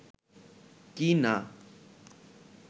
কি না